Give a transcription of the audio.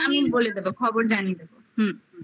আমি বলে দেবো খবর জানিয়ে দেবো হুম্